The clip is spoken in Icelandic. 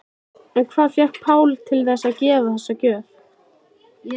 En hvað fékk Pál til þess að gefa þessa gjöf?